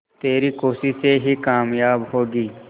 तेरी कोशिशें ही कामयाब होंगी